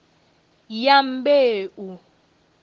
dyambeu